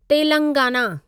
Telangana